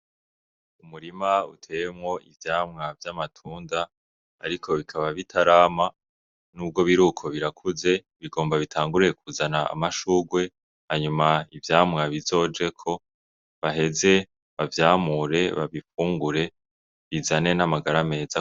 Umurima uteemwo ivyamwa vy'amatunda, ariko bikaba bitarama n'ubwo biri uko birakuze bigomba bitanguruye kuzana amashugwe hanyuma ivyamwa bizojeko baheze bavyamure babifungure bizane n'amagara meza.